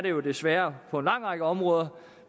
jo desværre på en lang række områder